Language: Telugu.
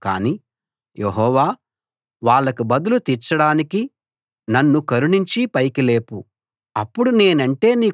నేను నమ్మిన నా సన్నిహిత మిత్రుడు నా ఆహారం పంచుకున్నవాడు నన్ను తన్నడానికి కాలు ఎత్తాడు